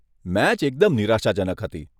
Match એકદમ નિરાશાજનક હતી.